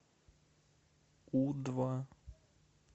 у два